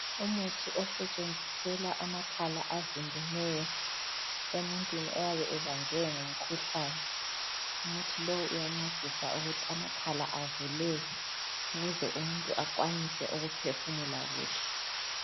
Umuthi osetshenziselwa amakhala avimbeneyo emuntwini oyabe ebanjwe ngumkhuhlane, umuthi lowu uyancedisa ukuthi amakhala avuleke ukuze umuntu akhwanise ukuphefumula kuhle.